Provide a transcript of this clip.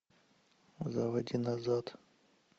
заводи назад